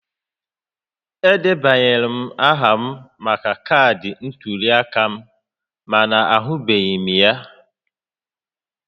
Edebanyela m aha maka kaadị ntuli aka m mana ahụbeghị m ya